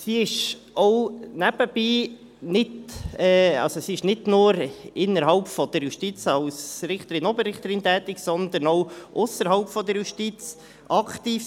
Sie war nicht nur innerhalb der Justiz als Richterin/Oberrichterin tätig, sondern auch ausserhalb der Justiz aktiv.